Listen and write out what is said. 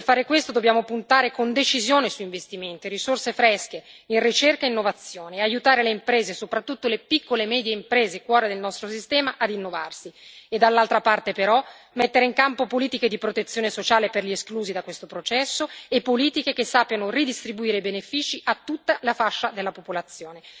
Per fare questo dobbiamo puntare con decisione su investimenti, risorse fresche in ricerca e innovazione e aiutare le imprese, soprattutto le piccole e medie imprese, cuore del nostro sistema, a rinnovarsi e dall'altra parte, però, mettere in campo politiche di protezione sociale per gli esclusi da questo processo e politiche che sappiano ridistribuire i benefici a tutta la fascia della popolazione.